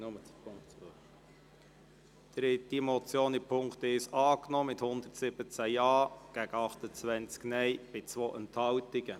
Sie haben den Punkt 1 dieser Motion angenommen mit 117 Ja- gegen 28 Nein-Stimmen bei 2 Enthaltungen.